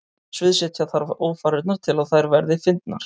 Sviðsetja þarf ófarirnar til að þær verði fyndnar.